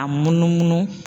A munumunu.